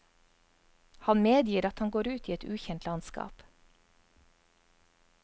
Han medgir at han går ut i et ukjent landskap.